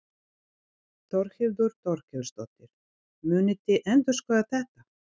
Þórhildur Þorkelsdóttir: Munið þið endurskoða þetta?